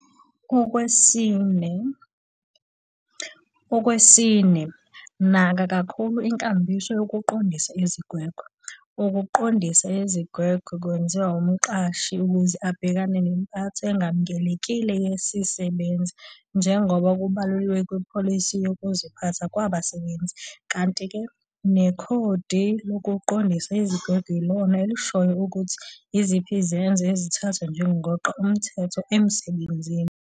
Okwesine, naka kakhulu inkambiso yokuqondisa izigwegwe. Ukuqondisa izigwegwe kwenziwa umqashi ukuze abhekane nempatho engamukelekile yesisebenzi njengoba kubaluliwe kupholisi yezokuphathwa kwabasebenzi. Kanti-ke nekhodi lokuqondisa izigwegwe yilona elishoyo ukuthi yiziphi izenzo ezithathwa njengokweqa umthetho emsebenzini.